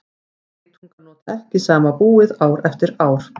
geitungar nota ekki sama búið ár eftir ár